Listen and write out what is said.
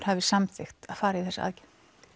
hafi samþykkt að fara í þessa aðgerð